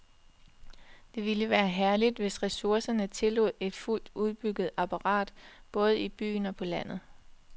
Det ville være herligt, hvis ressourcerne tillod et fuldt udbygget apparat både i byen og på landet.